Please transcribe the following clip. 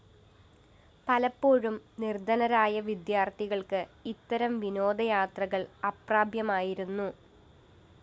പലപ്പോഴും നിര്‍ധനരായ വിദ്യാര്‍ത്ഥികള്‍ക്ക് ഇത്തരം വിനോദയാത്രകള്‍ അപ്രാപ്യമായിരുന്നു